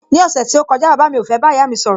Ní ọ̀sẹ̀ tí ó kọjá, bàbá mi ò fẹ́ bá ìyá mi sọ̀rọ̀